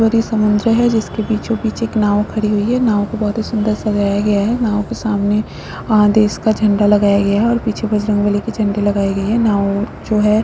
ये एक समुद्र हैं जिसके बीचो-बीच एक नाव खड़ी हुई हैं नाव को बहुत ही सुन्दर सजाया गया हैं नाव के सामने आ देश का झंडा लगाया गया है और पीछे बजरंग बली के झंडे लगाए गए हैं नाव जो है--